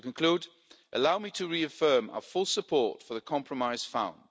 economy. To conclude, allow me to reaffirm our full support for the compromise